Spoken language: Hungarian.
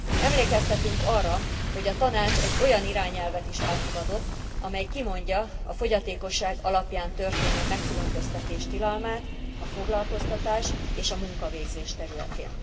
Emlékeztetünk arra, hogy a Tanács egy olyan irányelvet is elfogadott, amely kimondja a fogyatékosság alapján történő megkülönböztetés tilalmát a foglalkoztatás és a munkavégzés területén.